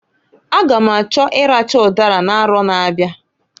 A ga m achọ ịracha ụdara n'arọ na-abịa.